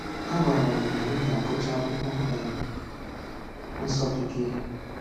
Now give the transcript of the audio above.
A gwara anyị na anyị ga-agụcha Akwụkwọ um Nsọ Bekee.